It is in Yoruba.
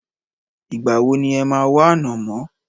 Ìgbà wo ni e máa wá ànámọ́?